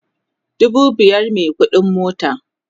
dubu biyar me ƙuɗin mota